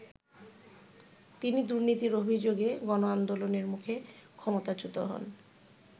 তিনি দুর্নীতির অভিযোগে গণআন্দোলনের মুখে ক্ষমতাচ্যূত হন।